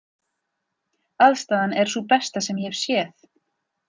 Aðstaðan er sú besta sem ég hef séð.